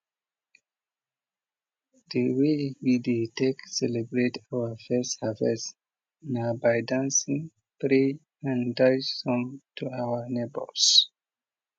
de way we dey take celebrate our first harvest na by dancing pray and dash some to our neighbors